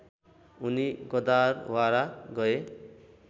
उनि गदारवारा गए